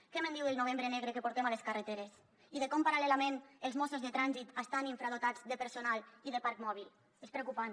què me’n diu del novembre negre que portem a les carreteres i de com paral·lelament els mossos de trànsit estan infradotats de personal i de parc mòbil és preocupant